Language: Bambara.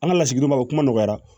An ka lasigidenw bɛ kuma nɔgɔya